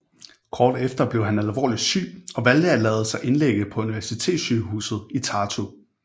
Kort efter blev han alvorlig syg og valgte at lade sig indlægge på universitetssygehuset i Tartu